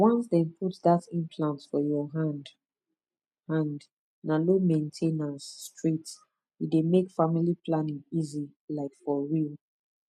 once dem put that implant for your hand hand na low main ten ance straight e dey make family planning easy like for real